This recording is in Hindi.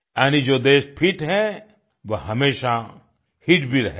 यानी जो देश फिट है वो हमेशा हित भी रहेगा